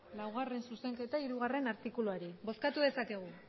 bozkatu dezakegu